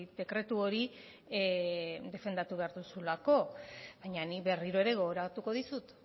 dekretu hori defendatu behar duzulako baina nik berriro ere gogoratuko dizut